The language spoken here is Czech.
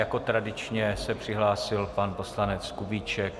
Jako tradičně se přihlásil pan poslanec Kubíček.